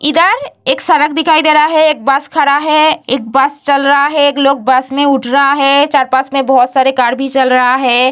इधर एक सड़क दिखाई दे रहा है एक बस खड़ा है एक बस चल रहा है एक लोग बस में उठ रहा है चार-पांच में कार भी चल रहा है।